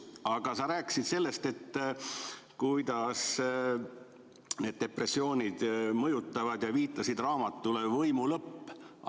Aga sa rääkisid sellest, kuidas need depressioonid mõjutavad, ja viitasid raamatule "Võimu lõpp".